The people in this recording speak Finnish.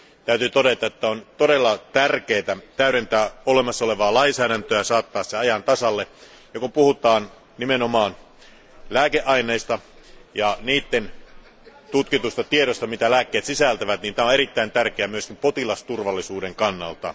Täytyy todeta, että on todella tärkeää täydentää olemassa olevaa lainsäädäntöä ja saattaa se ajan tasalle. Kun puhutaan nimenomaan lääkeaineista ja tutkitusta tiedosta siitä, mitä lääkkeet sisältävät, se on erittäin tärkeää myös potilasturvallisuuden kannalta.